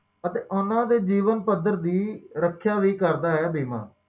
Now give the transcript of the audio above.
ਵੀ ਕਰ ਸਕਦੇ ਹੋ